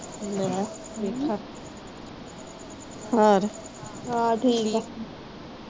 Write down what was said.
ਲੈ ਵੇਖਾ ਹਾਂ ਠੀਕ ਆ